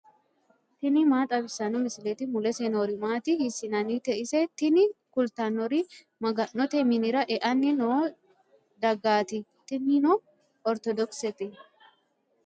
tini maa xawissanno misileeti ? mulese noori maati ? hiissinannite ise ? tini kultannori maga'note minira e'anni noo dagaati tinino ortodokisete.